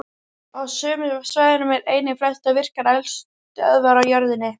Á sömu svæðum eru einnig flestar virkar eldstöðvar á jörðinni.